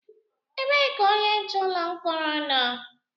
Ebee ka onye nche ụlọ mkpọrọ nọ?